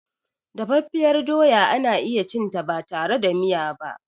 Dafaffiyar doya ana iyacinta batare da miya ba.